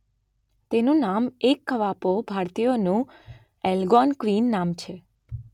તેનું નામ એક કવાપો ભારતીયોનું એલગોનક્વિન નામ છે